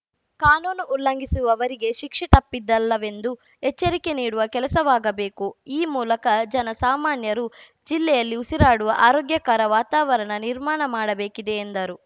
ಕಾನೂನು ಉಲ್ಲಂಘಿಸುವವರಿಗೆ ಶಿಕ್ಷೆ ತಪ್ಪಿದ್ದಲ್ಲವೆಂದು ಎಚ್ಚರಿಕೆ ನೀಡುವ ಕೆಲಸವಾಗಬೇಕು ಈ ಮೂಲಕ ಜನ ಸಾಮಾನ್ಯರು ಜಿಲ್ಲೆಯಲ್ಲಿ ಉಸಿರಾಡುವ ಆರೋಗ್ಯಕರ ವಾತಾವರಣ ನಿರ್ಮಾಣ ಮಾಡಬೇಕಿದೆ ಎಂದರು